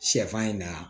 Sɛfan in na